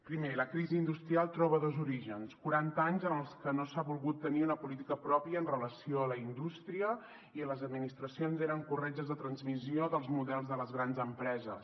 primer la crisi industrial troba dos orígens quaranta anys en els que no s’ha volgut tenir una política pròpia amb relació a la indústria i en els que les administracions eren corretges de transmissió dels models de les grans empreses